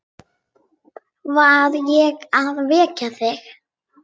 Var ég að vekja þig?